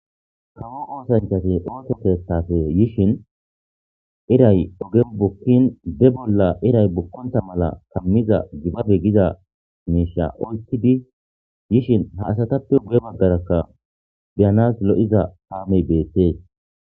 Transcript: Kawo oosanchcati ooso keeththappe yishin iray ogen bukkin be bolla iray bukkonta mala kammiza gibabe giza miishsha oykkidi yishin ha asatappe guye baggarakka be'anas lo'iza kaamey beettes.